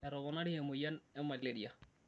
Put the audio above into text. Etoponari emoyian e malaria